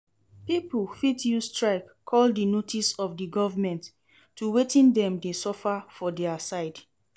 Pipo fit use strike call di notice of di government to wetin dem de suffer for their side